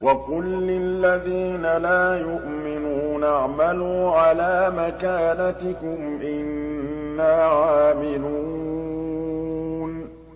وَقُل لِّلَّذِينَ لَا يُؤْمِنُونَ اعْمَلُوا عَلَىٰ مَكَانَتِكُمْ إِنَّا عَامِلُونَ